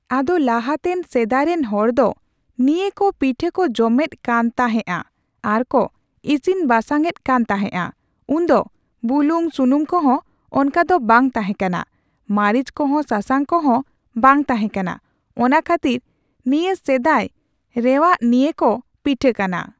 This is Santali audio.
ᱟᱫᱚ ᱞᱟᱦᱟᱛᱮᱱ ᱥᱮᱫᱟᱭᱨᱮᱱ ᱦᱚᱲ ᱫᱚ ᱱᱤᱭᱟᱹᱠᱚ ᱯᱤᱴᱷᱟᱹᱠᱚ ᱡᱚᱢᱮᱫ ᱠᱟᱱᱛᱟᱦᱮᱸᱫᱼᱟ ᱟᱨ ᱠᱚ ᱤᱥᱤᱱ ᱵᱟᱥᱟᱝ ᱮᱫ ᱠᱟᱱ ᱛᱟᱦᱮᱫᱼᱟ ᱩᱱ ᱫᱚ ᱵᱩᱞᱩᱝ ᱥᱩᱱᱩᱢ ᱠᱚᱸᱦᱚ ᱚᱱᱠᱟ ᱫᱚ ᱵᱟᱝ ᱛᱟᱦᱮᱸ ᱠᱟᱱᱟ ᱾ ᱢᱟᱹᱨᱤᱪ ᱠᱚᱦᱚᱸ ᱥᱟᱥᱟᱝ ᱠᱚᱦᱚᱸ ᱵᱟᱝ ᱛᱟᱦᱮᱸ ᱠᱟᱱᱟ ᱾ ᱚᱱᱟ ᱠᱷᱟᱹᱛᱤᱨ ᱱᱤᱭᱟᱹ ᱥᱮᱫᱟᱭ ᱨᱮᱮᱟᱜ ᱱᱤᱭᱟᱹ ᱠᱚ ᱯᱤᱴᱷᱟᱹ ᱠᱟᱱᱟ ᱾